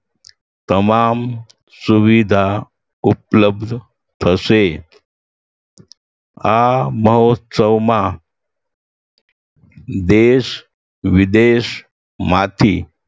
તમામ સુવિધા ઉપલબ્ધ થશે આ મહોત્સવમાં દેશવિદેશમાંથી